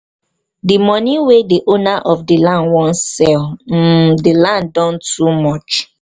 the money wey the owner of the land wan sell um the land don too much